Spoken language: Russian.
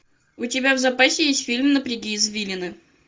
у тебя в запасе есть фильм напряги извилины